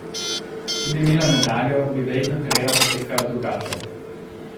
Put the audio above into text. Če bi imela medaljo, bi verjetno kariera potekala drugače.